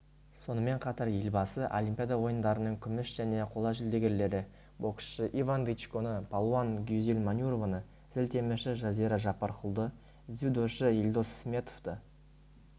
сонымен қатар елбасы олимпиада ойындарының күміс және қола жүлдегерлері боксшы иван дычконы палуан гүзел манюрованы зілтемірші жазира жаппаркұлды дзюдошы елдос сметовті